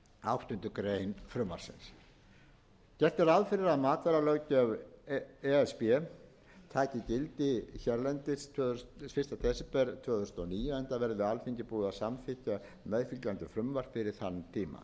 áttundu greinar frumvarpsins gert er ráð fyrir að matvælalöggjöf e s b taki gildi hérlendis fyrsta desember tvö þúsund og níu enda verði alþingi búið að samþykkja meðfylgjandi frumvarp fyrir þann tíma